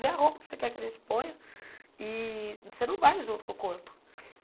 Vê a roupa que você quer que a gente ponha e você não vai junto com o corpo.